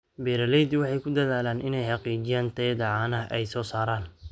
Beeraleydu waxay ku dadaalaan inay xaqiijiyaan tayada caanaha ay soo saaraan.